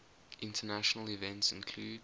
international events include